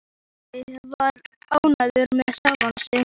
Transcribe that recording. Tóti var ánægður með sjálfan sig.